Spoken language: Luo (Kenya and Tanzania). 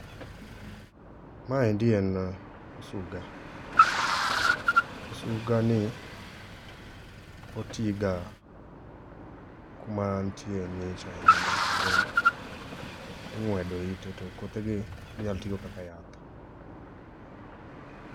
Maendi en osuga, osuga ni otii ga kuma nitie ngich ahinya kendo ingwedo ite to kothe gi inyal ti go kaka yath